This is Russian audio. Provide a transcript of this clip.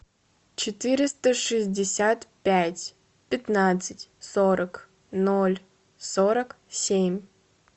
четыреста шестьдесят пять пятнадцать сорок ноль сорок семь